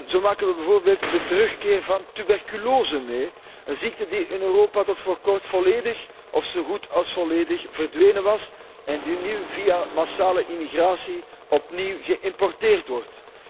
Zo maken wij bijvoorbeeld de terugkeer van tuberculose mee, een ziekte die in Europa tot voor kort volledig, of zo goed als volledig verdwenen was en die nu via massale immigratie opnieuw geïmporteerd wordt.